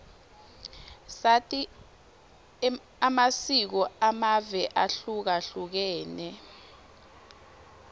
sati amasiko amave ahlukahlukene